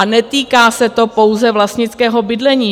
A netýká se to pouze vlastnického bydlení.